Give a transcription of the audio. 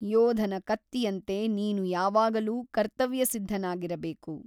ಯೋಧನ ಕತ್ತಿಯಂತೆ ನೀನು ಯಾವಾಗಲೂ ಕರ್ತವ್ಯಸಿದ್ಧನಾಗಿರಬೇಕು.